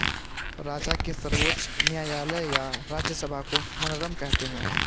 राजा के सर्वोच्च न्यायालय या राज्यसभा को मनरम कहते थे